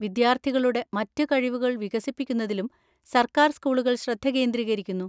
വിദ്യാർത്ഥികളുടെ മറ്റ് കഴിവുകൾ വികസിപ്പിക്കുന്നതിലും സർക്കാർ സ്കൂളുകൾ ശ്രദ്ധ കേന്ദ്രീകരിക്കുന്നു.